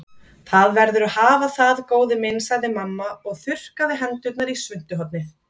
Það verður að hafa það, góði minn sagði mamma og þurrkaði hendurnar í svuntuhornið.